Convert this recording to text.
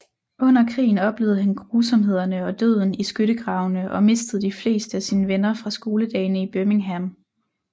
Under krigen oplevede han grusomhederne og døden i skyttegravene og mistede de fleste af sine venner fra skoledagene i Birmingham